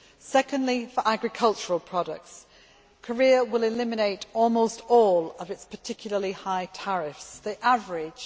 Secondly, for agricultural products, Korea will eliminate almost all of its particularly high tariffs they average